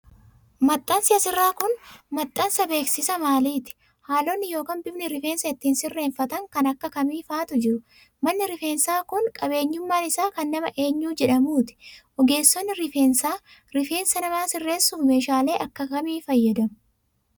Maxxansi as irraa kun, maxxansa beeksisa maaliti? Haalonni yokin bifni rifeensa ittiin sirreeffatan kan akka kamii faatu jiru? Manni rifeensaa kun, qabeenyummaan isaa kan nama eenyu jedhamuuti? Ogeessonni rifeensaa, rifeensa namaa sirreessuuf meeshaalee akka kamii fayyadamu?